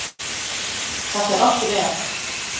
Það fer allt vel.